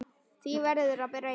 Því verður að breyta.